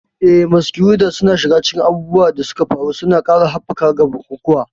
Eh, Masquerades suna shiga cikin abubuwan da suka faru, suna ƙara haɓaka ga bukukuwa.